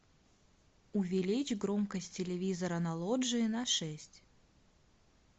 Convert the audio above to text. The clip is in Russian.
увеличь громкость телевизора на лоджии на шесть